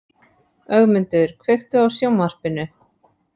Ögmundur, kveiktu á sjónvarpinu.